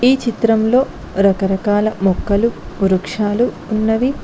ఈ చిత్రంలో రకరకాల మొక్కలు వృక్షాలు ఉన్నవి.